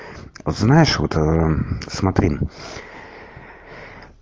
знаешь вот смотри